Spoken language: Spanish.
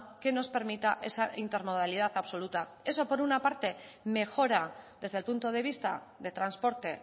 que nos permita esa intermodalidad absoluta eso por una parte mejora desde el punto de vista de transporte